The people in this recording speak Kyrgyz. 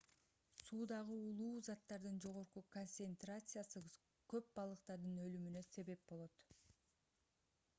суудагы уулуу заттардын жогорку концентрациясы көп балыктардын өлүмүнө себеп болот